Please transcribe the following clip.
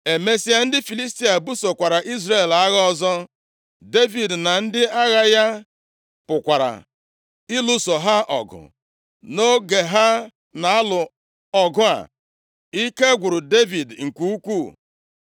Emesịa, ndị Filistia busokwara Izrel agha ọzọ. Devid na ndị agha ya pụkwara ịlụso ha ọgụ. Nʼoge ha na-alụ ọgụ a, ike gwụrụ Devid nke ukwuu.